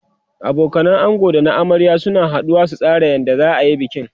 abokanan ango da na amarya suna haduwa su tsara yadda zaayi bikin